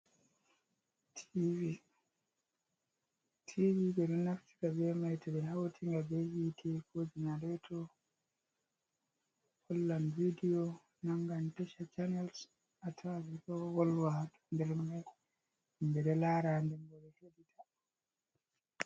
Tivi. Tivi ɓeɗo naftira bemai toɓe hautinga be hite, ko janareto. hollan vidiyo, nangan tasha canals atawan ɓeɗo wolwa ha nder mango himɓe ɗo lara nden ɓedo hedita.